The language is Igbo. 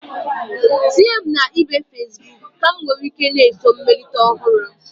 Tinye m na ibe Fesbuk ka m nwee ike na-eso mmelite ọhụrụ.